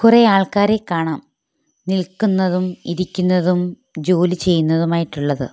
കുറേ ആൾക്കാരെ കാണാം നിൽക്കുന്നതും ഇരിക്കുന്നതും ജോലി ചെയ്യുന്നതും ആയിട്ടുള്ളത്.